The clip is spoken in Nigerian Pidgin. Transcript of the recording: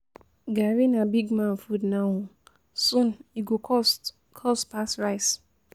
Garri na big man food now, soon e go cost cost pass rice